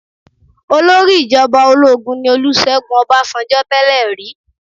Olórí ìjọba ológun ní Olúṣẹ́gun Ọbásanjọ́ tẹ́lè rí.